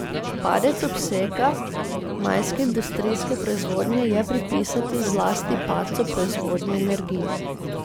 Padec obsega majske industrijske proizvodnje je pripisati zlasti padcu proizvodnje energije.